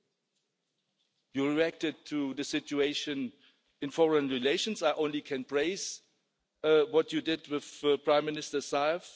You have reacted to the situation in foreign relations I can only praise what you did with Prime Minister Zaev.